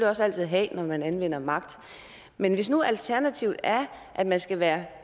også altid have når man anvender magt men hvis nu alternativet er at man skal være